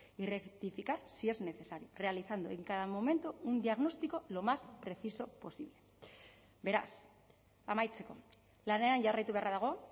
y rectificar si es necesario realizando en cada momento un diagnóstico lo más preciso posible beraz amaitzeko lanean jarraitu beharra dago